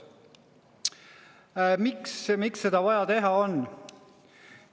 Miks on seda vaja teha?